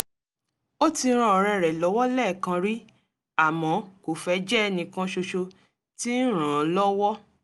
ó ti ran ọ̀rẹ́ rẹ̀ lọ́wọ́ lẹ́ẹ̀kan rí àmọ́ kò fẹ́ jẹ́ ẹnìkan ṣoṣo tí ń ràn án lọ́wọ́